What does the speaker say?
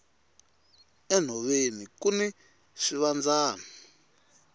enhoveni kuni swivandzani